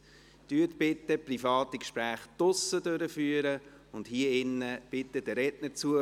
Führen Sie bitte private Gespräche draussen und hier drin, hören Sie bitte den Rednern zu.